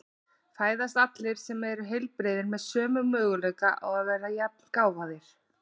Fæðast allir sem eru heilbrigðir með sömu möguleika á að verða jafngáfaðir?